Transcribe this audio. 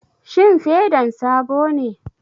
Shin fedan sabo ne?